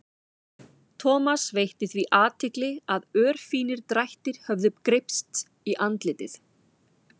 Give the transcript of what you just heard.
Thomas veitti því athygli að örfínir drættir höfðu greypst í andlitið.